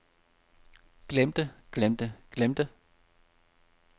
glemte glemte glemte